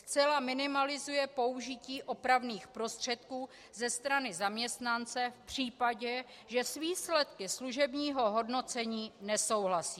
Zcela minimalizuje použití opravných prostředků ze strany zaměstnance v případě, že s výsledky služebního hodnocení nesouhlasí.